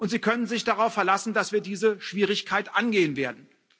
Sie können sich darauf verlassen, dass wir diese Schwierigkeit angehen werden.